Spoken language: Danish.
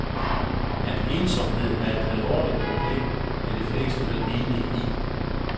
At ensomhed er et alvorligt problem, er de fleste vel enige i.